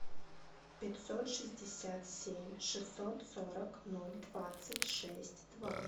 пятьсот шестьдесят семь шестьсот сорок ноль двадцать шесть два